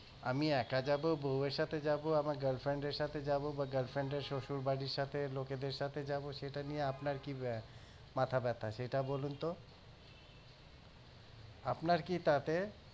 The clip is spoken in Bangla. আমি একা যাবো বউয়ের সাথে যাবো আমার girlfriend এর সাথে যাবো বা girlfriend শশুরবাড়ির সাথে লোকেদের সাথে যাবো সেটা নিয়ে আপনার কি মাথা ব্যাথা সেটা বলুনতো আপনার কি তাতে